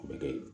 Bɛ kɛ